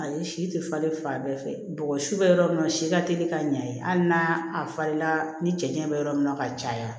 Ayi si tɛ falen fan bɛɛ fɛ bɔgɔ si bɛ yɔrɔ min na si ka teli ka ɲɛ hali n'a falenna ni cɛncɛn bɛ yɔrɔ min na ka caya